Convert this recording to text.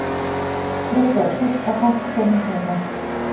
Þriggja ára stúlka hætt komin heima